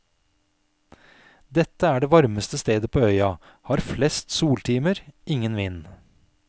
Dette er det varmeste stedet på øya, har flest soltimer, ingen vind.